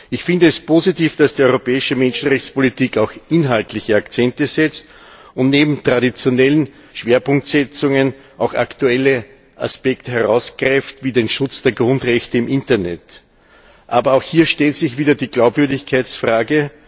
Ich finde es positiv, dass die europäische Menschenrechtspolitik auch inhaltliche Akzente setzt und neben traditionellen Schwerpunktsetzungen auch aktuelle Aspekte wie den Schutz der Grundrechte im Internet herausgreift. Aber auch hier stellt sich wieder die Glaubwürdigkeitsfrage.